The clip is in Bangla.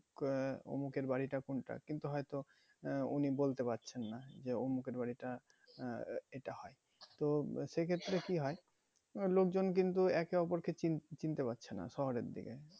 আহ উমুকের বাড়িটা কোনটা? কিন্তু হয়তো আহ উনি বলতে পারছেন না যে উমুকের বাড়িটা আহ এটা তো সে ক্ষেত্রে কি হয় লোকজন কিন্তু একে অপরকে চিনতে পারছে না শহরের দিকে